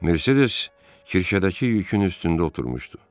Mercedes Kirşədəki yükün üstündə oturmuşdu.